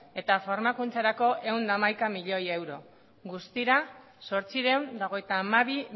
eta formakuntzarako ehun eta hamaika milioi euro guztira zortziehun eta hogeita hamabi